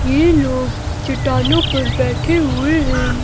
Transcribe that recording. यह लोग चट्टानों पर बैठे हुए हैं।